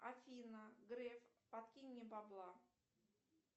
афина греф подкинь мне бабла